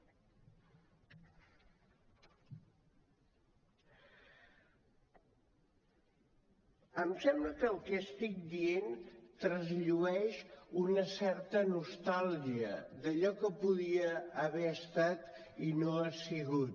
em sembla que el que estic dient trasllueix una certa nostàlgia d’allò que podia haver estat i no ha sigut